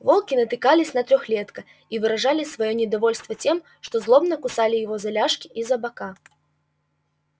волки натыкались на трёхлетка и выражали своё недовольство тем что злобно кусали его за ляжки и за бока